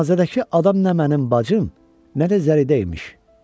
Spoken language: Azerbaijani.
Cənazədəki adam nə mənim bacım, nə də zəridə imiş.